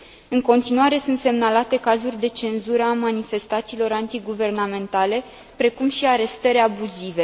În continuare sunt semnalate cazuri de cenzură a manifestațiilor antiguvernamentale, precum și arestări abuzive.